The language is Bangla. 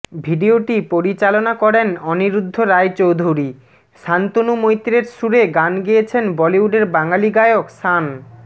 ভিডিওটি পরিচালকনা করেন অনিরুদ্ধ রায় চৌধুরী শান্তনু মৈত্রর সুরে গান গেয়েছেন বলিউডের বাঙালি গায়ক শান